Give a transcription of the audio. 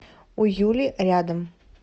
у юли рядом